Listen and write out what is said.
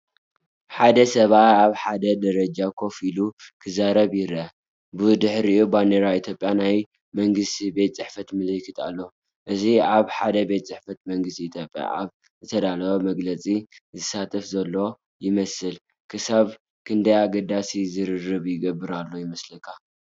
ሓደ ሰብኣይ ኣብ ሓደ ደረጃ ኮፍ ኢሉ ክዛረብ ይርአ። ብድሕሪኡ ባንዴራ ኢትዮጵያን ናይ መንግስቲ ቤት ጽሕፈት ምልክትን ኣሎ። እዚ ኣብ ሓደ ቤት ጽሕፈት መንግስቲ ኢትዮጵያ ኣብ ዝተዳለወ መግለጺ ዝሳተፍ ዘሎ ይመስል። ክሳብ ክንደይ ኣገዳሲ ዝርርብ ይገብሮ ዘሎ ይመስለካ?